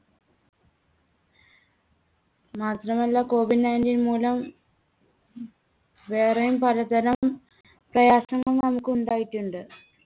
മാത്രമല്ല Covid nineteen മൂലം വേറെയും പലതരം പ്രയാസങ്ങൾ നമുക്കുണ്ടായിട്ടുണ്ട്.